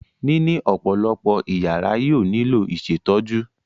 Níní ọ̀pọ̀lọpọ̀ ìyàrá yóò nílò ìṣètọ́jú.